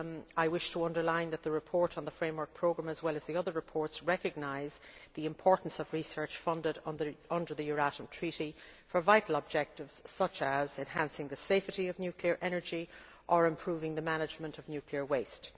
I wish to underline that the report on the Framework Programme, and the other reports, recognise the importance of research funded under the Euratom Treaty for vital objectives such as enhancing the safety of nuclear energy and improving the management of nuclear waste.